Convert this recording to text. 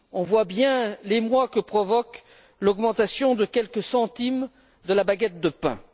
Nous voyons bien l'émoi que provoque l'augmentation de quelques centimes de la baguette de pain.